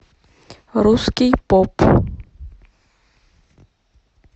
русский поп